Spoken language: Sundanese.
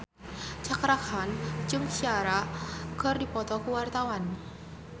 Cakra Khan jeung Ciara keur dipoto ku wartawan